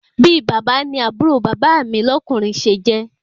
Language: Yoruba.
Bi bàbá ni àbúrò bàbá mi lọ́kùnrin se jẹ́